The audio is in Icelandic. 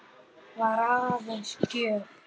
Var aðeins gjöf.